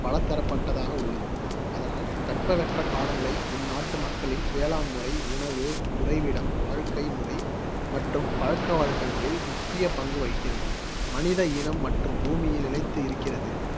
பலதரப்பட்டதாக உள்ளது. அதனால் தட்பவெப்பக்காலநிலை இந்நாட்டு மக்களின் வேளாண் முறை, உணவு, உறைவிடம், வாழ்க்கை முறை மற்றும் பழக்கவழக்கங்களில் முக்கிய பங்கு வகிக்கிறது. மனித இனம் மற்றும் பூமியில் நிலைத்து இருக்கிறது